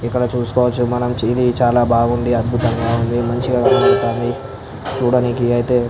ఇక్కడ చూసుకోవచ్చు ఇది చాలా బాగుంది అద్భుతంగా ఉన్నది మంచిగా చూడానికి ఇది అయితే --